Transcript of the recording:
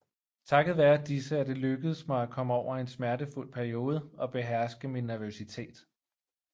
Takket være disse er det lykkedes mig at komme over en smertefuld periode og beherske min nervøsitet